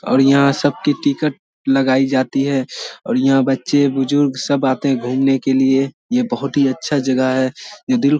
और यहां सब की टिकट लगाई जाती है और यहां बच्चे बुजुर्ग सब आते है घूमने के लिए ये बहोत ही अच्छा जगह है ये दिल--